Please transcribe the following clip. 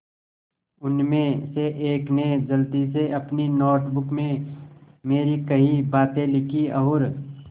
उनमें से एक ने जल्दी से अपनी नोट बुक में मेरी कही बातें लिखीं और